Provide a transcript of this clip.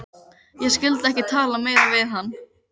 Ég skyldi ekki tala meira við hann.